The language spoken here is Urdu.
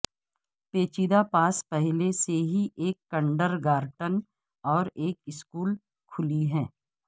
پیچیدہ پاس پہلے سے ہی ایک کنڈرگارٹن اور ایک اسکول کھولی ہے